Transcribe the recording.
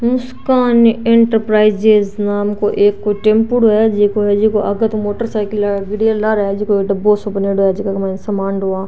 मुस्कान enterprises नाम को एक कोई टेम्पूडो है जिको आगे तो मोटरसाइकिल है लारे डब्बो सो बनेड़ो है जीका के माइन सामान ढोवा।